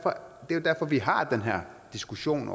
jo derfor vi har den her diskussion